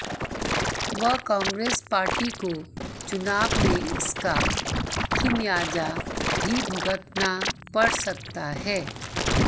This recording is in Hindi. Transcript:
व काग्रेंस पार्टी को चुनाव मे इसका खािमयाजा भी भुगतना पड सकता है